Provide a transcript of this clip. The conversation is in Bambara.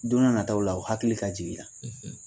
Don n'a nataw la u hakili ka jigi i la.